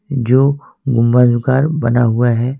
जो गुम्मद नुकार बना हुआ है।